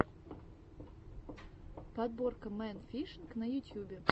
подборка мэн фишинг на ютьюбе